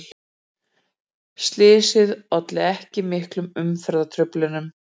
Slysið olli ekki miklum umferðartruflunum